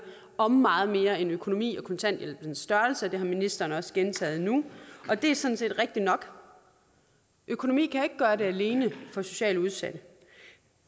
om meget mere end økonomi og kontanthjælpens størrelse og det har ministeren også gentaget nu og det er sådan set rigtigt nok økonomi kan ikke gøre det alene for socialt udsatte